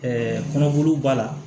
kɔnɔbolow b'a la